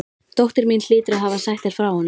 Dóttir mín hlýtur að hafa sagt þér frá honum.